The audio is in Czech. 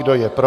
Kdo je pro?